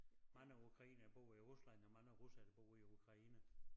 Mange ukrainere bor i Rusland og mange russere der bor i Ukraine